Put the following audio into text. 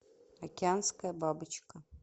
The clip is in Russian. океанская бабочка